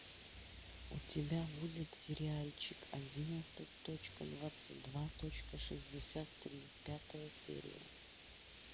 у тебя будет сериальчик одиннадцать точка двадцать два точка шестьдесят три пятая серия